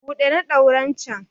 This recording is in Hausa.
buɗe na ɗauren can!